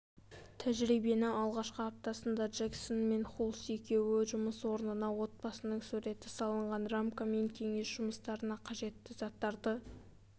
тәжірибенің алғашқы аптасында джексон мен хулс екеуі жұмыс орнына отбасының суреті салынған рамка мен кеңсе жұмыстарына қажетті заттарды